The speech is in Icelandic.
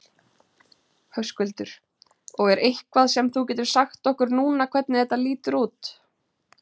Höskuldur: Og er eitthvað sem þú getur sagt okkur núna hvernig þetta lítur út?